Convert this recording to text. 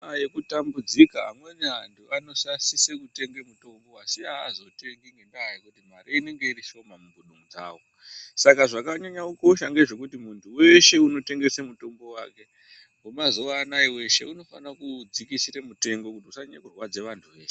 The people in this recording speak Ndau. Ngenguva yekutambudzika amweni antu anosise kutenga mutombo asi hazvotengi ngendaa yekuti mari inenga irishoma mumbudu dzavo. Saka zvakanyanya kukosha ngezvekuti muntu veshe unotengese mutombo vake vemazuva anaya veshe unofana kuudzikisira mutengo kuti usanyanye kurwadza antu eshe.